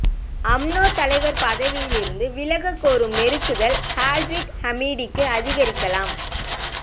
UMNO தலைவர் பதவியிலிருந்து விலகக்கோரும் நெருக்குதல் ஸாஹிட் ஹமிடிக்கு அதிகரிக்கலாம்